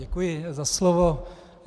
Děkuji za slovo.